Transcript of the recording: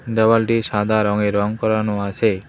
দেওয়ালটি সাদা রঙে রঙ করানো আছে।